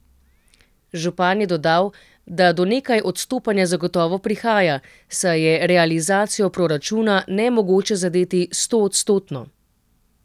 Župan je dodal, da do nekaj odstopanja zagotovo prihaja, saj je realizacijo proračuna nemogoče zadeti stoodstotno.